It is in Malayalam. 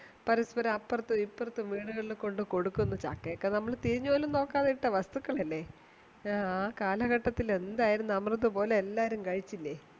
പരസ്പരം അപ്പുറത്തും ഇപ്പറത്തും വീടുകളിൽ കൊണ്ട് കൊടുക്കുന്നു ചക്ക ഒക്കെ നമ്മൾ തിരിഞ്ഞുപോലും നോക്കാതെ ഇട്ട വസ്തുക്കളല്ലെ ആ കാലകെട്ടത്തിൽ എന്തായിരുന്നു അമൃത് പോലെ എല്ലാരും കഴിച്ചിലെ